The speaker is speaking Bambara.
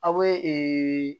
Aw bɛ ee